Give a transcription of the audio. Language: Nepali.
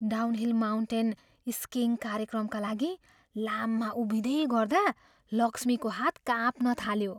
डाउनहिल माउन्टेन स्किइङ कार्यक्रमका लागि लाममा उभिँदै गर्दा लक्ष्मीको हात काँप्न थाल्यो।